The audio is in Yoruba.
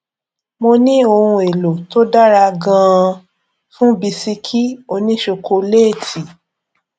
mo ní ohun èlò tó dára ganan fún bisikì òní ṣokoléétì